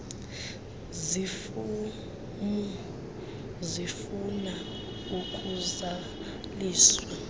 zifomu zifuna ukuzaliswa